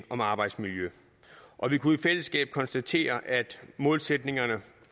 om arbejdsmiljø og vi kunne i fællesskab konstatere at målsætningerne